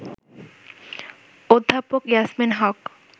অধ্যাপক ইয়াসমিন হক